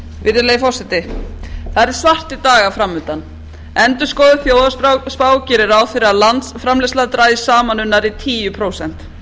virðulegi forseti það eru svartir dagar framundan endurskoðuð þjóðhagsspá gerir ráð fyrir landsframleiðsla dragist saman um nærri tíu prósent